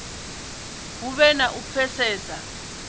hu vhe na u pfesesa